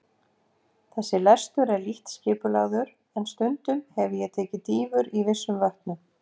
Þessi lestur er lítt skipulagður, en stundum hefi ég tekið dýfur í vissum vötnum.